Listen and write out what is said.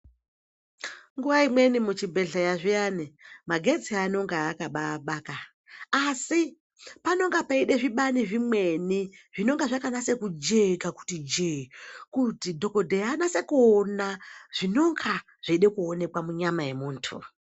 Nguwa imweni muchibhedhlera zviyani magetsi anonga akabaabaka asi panonga peida zvibani zvimweni zvinonga zvakanyaso kujeka kuti jee kuti dhokodheya anyatse kuona zvinonga zveida kuoneka munyama yemuntu.